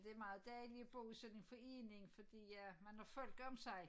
Det meget dejligt at bo i sådan en forening fordi ja man har folk om sig